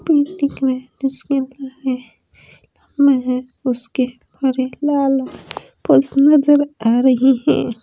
पेड़ दिख रहे है जिसके साम है उसके लाल नजर आ रहा है।